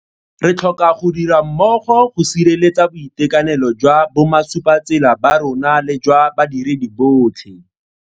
Re tlhoka go dira mmogo go sireletsa boitekanelo jwa bomasupatsela ba rona le jwa badiredi botlhe.